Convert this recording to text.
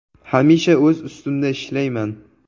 “Hamisha o‘z ustimda ishlayman.